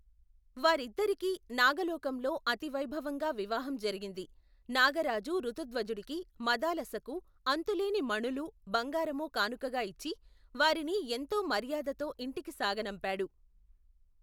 వారిద్దరికి నాగలోకంలో అతివైభవంగా వివాహం జరిగింది, నాగరాజు ఋతుధ్వజుడికి, మదాలసకు, అంతులేని మణులూ, బంగారము కానుకగా ఇచ్చి, వారిని ఎంతో మర్యాదతో ఇంటికి సాగనంపాడు.